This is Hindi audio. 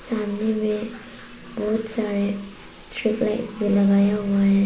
सामने में बहुत सारे स्ट्रीट लाइट भी लगाया हुआ हैं।